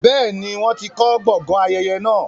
bẹ́ẹ̀ni, wọ́n ti kọ gbọgán ayẹyẹ naa.